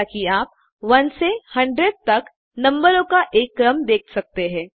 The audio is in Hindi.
जैसा कि आप 1 से 100 तक नम्बरों का एक क्रम देख सकते हैं